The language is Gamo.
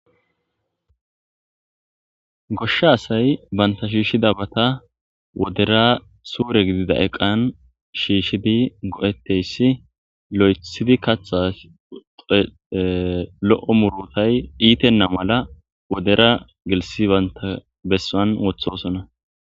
goshsha asay banta shiishi dabata wodera suure gidida eqan shiishidi go'etteyssi lo'ethidi katha lo'o murutay iitenna mala wodera gelisi banta bessan wothosona.